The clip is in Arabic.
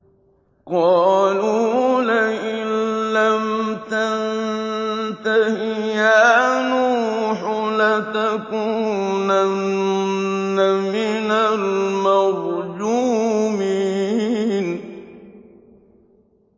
قَالُوا لَئِن لَّمْ تَنتَهِ يَا نُوحُ لَتَكُونَنَّ مِنَ الْمَرْجُومِينَ